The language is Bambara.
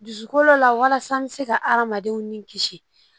Dusukolo la walasa an bɛ se ka adamadenw ni kisi